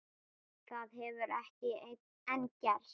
Það hefur ekki enn gerst.